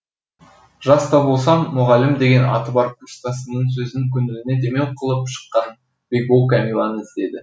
жас та болса мұғалім деген аты бар курстасының сөзін көңіліне демеу қылып шыққан бекбол кәмиләні іздеді